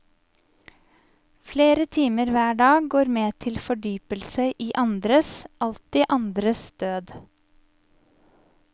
Flere timer hver dag går med til fordypelse i andres, alltid andres død.